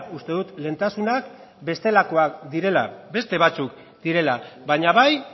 uste dut lehentasunak bestelakoak direla beste batzuk direla baina bai